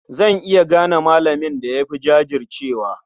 Zan iya gane malamin da ya fi jajircewa.